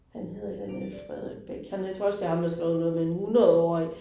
Han hedder et eller andet med Frederik Bech, han er jeg tror også det ham, der har skrevet noget med en 100 årig